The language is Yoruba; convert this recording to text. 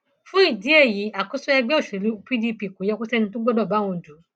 fún ìdí èyí àkóso ẹgbẹ òṣèlú pdp kò yẹ kó sẹni tó gbọdọ bá òun dù ú